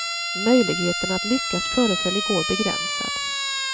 Möjligheten att lyckas föreföll igår begränsad.